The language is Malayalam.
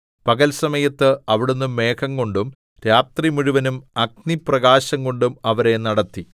പകൽ സമയത്ത് അവിടുന്ന് മേഘംകൊണ്ടും രാത്രിമുഴുവനും അഗ്നിപ്രകാശംകൊണ്ടും അവരെ നടത്തി